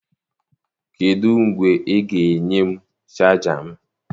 Kedụ mgbe ị ga-enye m chaja m?